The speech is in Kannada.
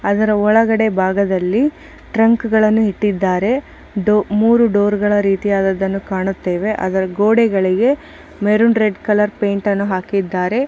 ಅದರ ಒಳಗಡೆ ಬಾಗದಲ್ಲಿ ಟ್ರಂಕ್ ಗಳನ್ನೂ ಇಟ್ಟಿದ್ದಾರೆ. ಡೊ ಮೂರೂ ಡೋರ್ ಗಳ ರೀತಿಯಾದದ್ದನ್ನು ಕಾಣುತ್ತೇವೆ. ಅದರ್ ಗೋಡೆಗಳಿಗೆ ಮೆರೂನ್ ರೆಡ್ ಕಲರ್ ಪೈಂಟ್ ಅನ್ನು ಹಾಕಿದ್ದಾರೆ.